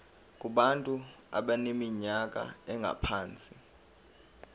kubantu abaneminyaka engaphansi